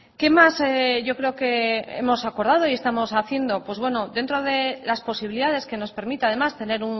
qué más yo creo que hemos acordado y estamos haciendo pues bueno dentro de las posibilidades que nos permita además tener